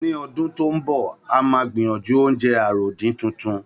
Ní ọdún tó ń bọ̀, a máa gbìyànjú oúnjẹ àròdín titun